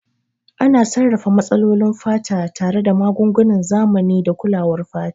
Ana sarrafa matsalolin fata tare da magungunan zamani da kulawar fata.